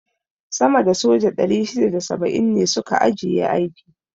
sama da soja 670 ne su ka ajiye aiki.